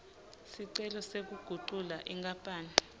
sicelo sekugucula inkapani